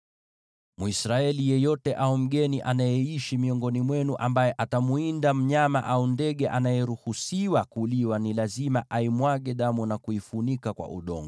“ ‘Mwisraeli yeyote au mgeni anayeishi miongoni mwenu ambaye atamwinda mnyama au ndege anayeruhusiwa kuliwa ni lazima aimwage damu na kuifunika kwa udongo,